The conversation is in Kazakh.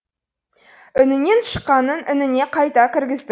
інінен шыққанын ініне қайта кіргіздік